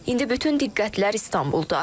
İndi bütün diqqətlər İstanbuldadır.